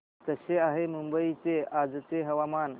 कसे आहे मुंबई चे आजचे हवामान